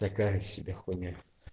такая себя хуйня